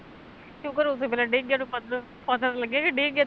ਸੁਕਰ ਉਸੇ ਵੇਲੇ ਡਿੱਗ ਗਿਆ ਪਤ ਪਤਾ ਤਾਂ ਲੱਗਿਆ ਕੀ ਵੀ ਗਿਆ ਤੇਰਾ